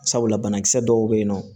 Sabula banakisɛ dɔw beyinɔ